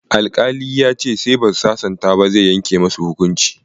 Alƙali ya ce sai ba su sasanta ba, zai yanke musu hukuncin.